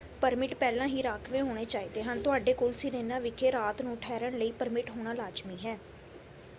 Permit ਪਹਿਲਾਂ ਹੀ ਰਾਖਵੇਂ ਹੋਣੇ ਚਾਹੀਦੇ ਹਨ। ਤੁਹਾਡੇ ਕੋਲ ਸਿਰੇਨਾ ਵਿਖੇ ਰਾਤ ਨੂੰ ਠਹਿਰਣ ਲਈ ਪਰਮਿਟ ਹੋਣਾ ਲਾਜ਼ਮੀ ਹੈ।